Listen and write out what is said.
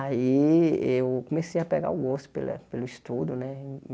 Aí eu comecei a pegar o gosto pela pelo estudo, né?